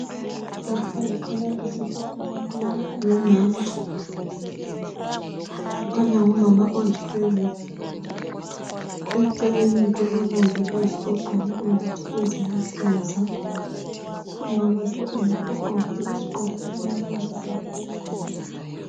Lapha kukhanya isisu somuntu ongumama. Kukhanya ngumama ozithweleyo. Eceleni kulomongikazi ogqoke imbatho eziluhlaza. Umama lo yena ugqoke isigqoko esilamabalabala.